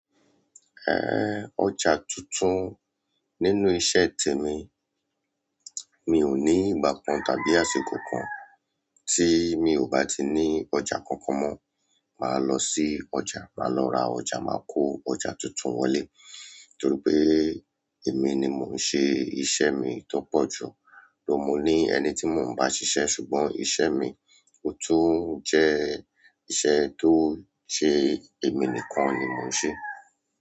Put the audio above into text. Ẹn, ọjà tuntun nínú iṣẹ́ tèmi, mi ò ní ìgbà kan tàbí àsìkò kan tí mi ò bá ti ní ọjà kankan mọ. Màá lọ sí ọjà, màá lọ ra ọjà, màá kó ọjà tuntun wọlé torí pé èmi ni mò ń ṣe iṣẹ́ mi tó pọ̀ jù. Ló mo ní ẹni tí mò ń bá ṣiṣẹ́ ṣùgbọ́n iṣẹ́ mi ò tún jẹ́ iṣẹ́ tó ṣe èmi nìkan ni mò ń ṣe.